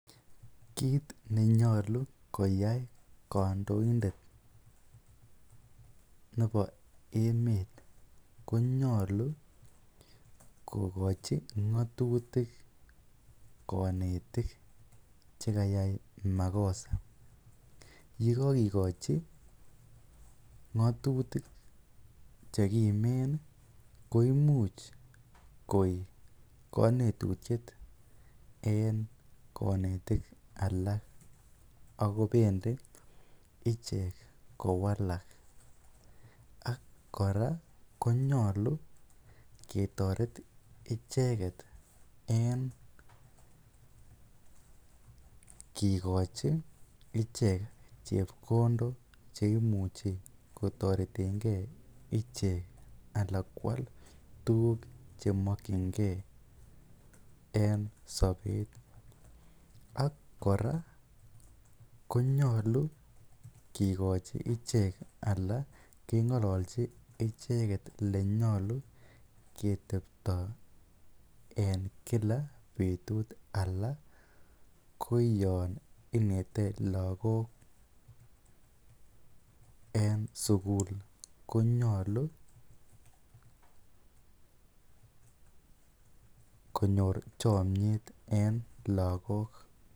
Kiit nenyolu koyai kondointet nebo emet konyolu kokochi ngotutik konetik chekayai makosa, yekokikochi ngotutik chekimen koimuch koik konetutiet en konetik alak ak ko bendi ichek kowalak ak kora konyolu ketoret icheket en kikochi icheket chepkondok cheimuche kotoretenge ichek alaa kwaal tukuk chemokyinge en sobet ak kora konyolu kikochi ichek alaa kengololchi icheket elenyolu ketebto en kila betut alaa koyon inete lokok en sukul konyolu konyor chomnyet en lokok.